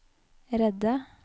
redde